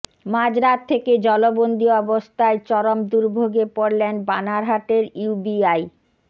মাঝরাত থেকে জলবন্দি অবস্থায় চরম দুর্ভোগে পড়লেন বানারহাটের ইউবিআই